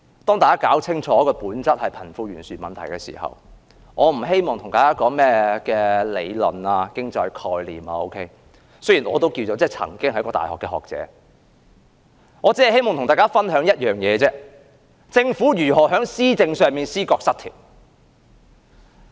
大家應搞清楚這本質上是貧富懸殊的問題，我不希望與大家談甚麼理論、經濟概念，雖然我也曾經是一位大學學者，我只希望與大家分享一件事，就是政府如何在施政上出現思覺失調。